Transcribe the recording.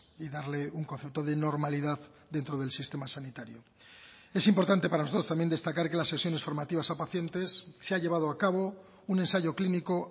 y darle un concepto de normalidad dentro del sistema sanitario es importante para nosotros también destacar que las sesiones formativas a pacientes se ha llevado a cabo un ensayo clínico